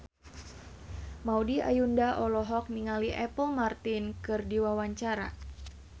Maudy Ayunda olohok ningali Apple Martin keur diwawancara